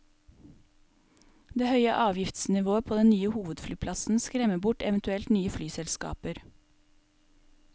Det høye avgiftsnivået på den nye hovedflyplassen skremmer bort eventuelt nye flyselskaper.